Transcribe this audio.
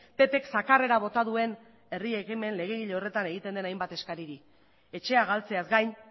ppk zakarrera bota duen herri ekimen legegile horretan egiten diren hainbat eskariri etxea galtzeaz gain